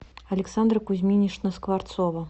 александра кузьминична скворцова